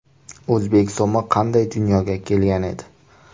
O‘zbek so‘mi qanday dunyoga kelgan edi?